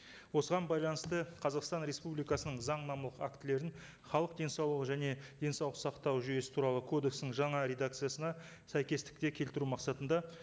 осыған байланысты қазақстан республикасының заңнамалық актілерін халық денсаулығы және денсаулық сақтау жүйесі туралы кодекстің жаңа редакциясына сәйкестікке келтіру мақсатында